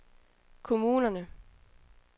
kommunerne